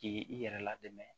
K'i i yɛrɛ ladamu